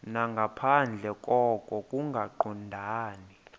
nangaphandle koko kungaqondani